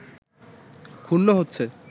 ক্ষুণ্ন হচ্ছে